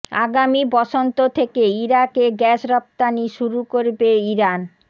আগামী বসন্ত থেকে ইরাকে গ্যাস রপ্তানি শুরু করবে ইরান